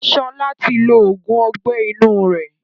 Sọlá tí lo oògùn Ọgbẹ́ inú rẹ̀